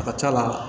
A ka c'a la